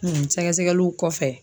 Sɛgɛsɛgɛliw kɔfɛ